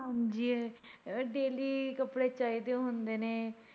ਹਾਂਜੀ daily ਕੱਪੜੇ ਚਾਹੀਦੇ ਹੁੰਦੇ ਨੇ।